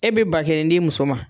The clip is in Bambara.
E be ba kelen d'i muso ma